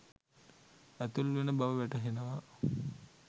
ඇතුල් වෙන බව වැටහෙනවා